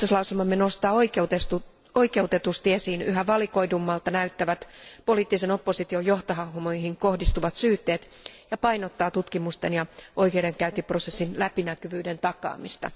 Päätöslauselmamme nostaa oikeutetusti esiin yhä valikoidummalta näyttävät poliittisen opposition johtohahmoihin kohdistuvat syytteet ja painottaa tutkimusten ja oikeudenkäyntiprosessin läpinäkyvyyden takaamista.